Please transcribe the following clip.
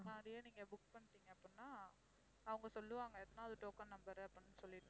முன்னாடியே நீங்க book பண்ணிட்டீங்க அப்படின்னா அவங்க சொல்லுவாங்க எத்தனாவது token number உ அப்படின்னு சொல்லிட்டு